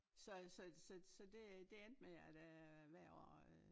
Så så så så det det endte med at øh hvert år øh